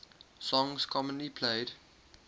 songs commonly played